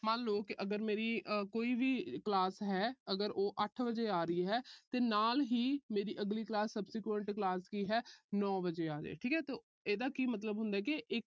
ਮੰਨ ਲੋ ਕਿ ਅਗਰ ਮੇਰੀ ਕੋਈ ਵੀ class ਹੈ ਅਗਰ, ਉਹ ਅੱਠ ਵਜੇ ਆ ਰਹੀ ਹੈ ਤੇ ਨਾਲ ਹੀ ਮੇਰੀ ਅਗਲੀ class subsequent class ਕੀ ਹੈ ਨੌ ਵਜੇ ਆ ਜਾਏ, ਠੀਕ ਆ, ਇਹਦਾ ਕੀ ਮਤਬਲ ਹੁੰਦਾ ਕਿ ਇੱਕ